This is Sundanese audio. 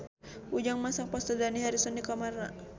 Ujang masang poster Dani Harrison di kamarna